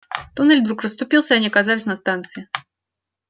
туннель вдруг расступился и они оказались на станции